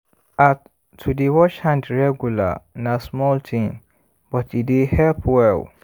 ah to dey wash hand regular na small thing but e dey help well